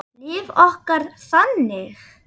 Líf okkar þannig?